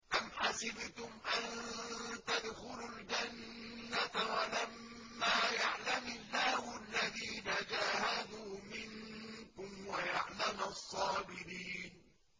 أَمْ حَسِبْتُمْ أَن تَدْخُلُوا الْجَنَّةَ وَلَمَّا يَعْلَمِ اللَّهُ الَّذِينَ جَاهَدُوا مِنكُمْ وَيَعْلَمَ الصَّابِرِينَ